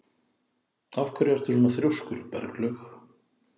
Af hverju ertu svona þrjóskur, Berglaug?